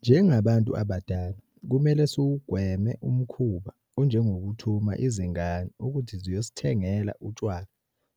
Njengabantu abadala kumele siwugweme umkhuba onjengokuthuma izingane ukuthi ziyosithengela utshwala